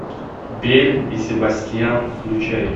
белль и себастьян включай